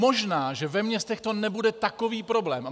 Možná že ve městech to nebude takový problém.